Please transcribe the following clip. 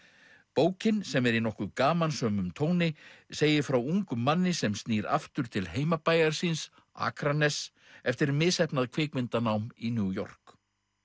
bókin sem er í nokkuð gamansömum tóni segir frá ungum manni sem snýr aftur til heimabæjar síns Akraness eftir misheppnað kvikmyndanám í New York